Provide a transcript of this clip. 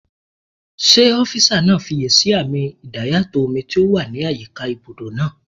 Ṣé ọ́físà náà fiyèsí àmì idayàtọ̀ omi tó wà ní àyíká ibùdó náà?